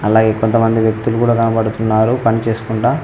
అలాగే కొంతమంది వ్యక్తులు కూడా కనపడుతున్నారు పనిచేసుకుంటా --